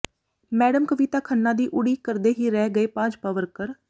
madam Kavita Khanna ਦੀ ਉਡੀਕ ਕਰਦੇ ਹੀ ਰਹਿ ਗਏ ਭਾਜਪਾ ਵਰਕਰ